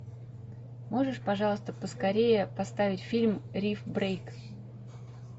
можешь пожалуйста поскорее поставить фильм риф брейк